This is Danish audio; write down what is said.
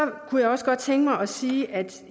kunne jeg også godt tænke mig at sige at